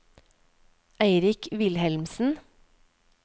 Eirik Wilhelmsen